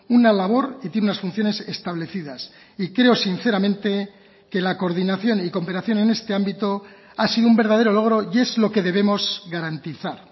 una labor y tiene unas funciones establecidas y creo sinceramente que la coordinación y cooperación en este ámbito ha sido un verdadero logro y es lo que debemos garantizar